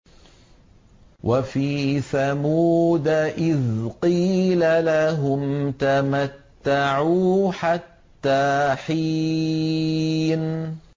وَفِي ثَمُودَ إِذْ قِيلَ لَهُمْ تَمَتَّعُوا حَتَّىٰ حِينٍ